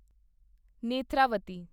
Netravati